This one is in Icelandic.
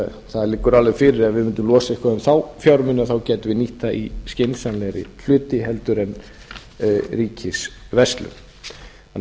það liggur alveg fyrir að ef við mundum losa eitthvað um þá fjármuni gætum við nýtt þá í skynsamlegri hluti heldur en ríkisverslun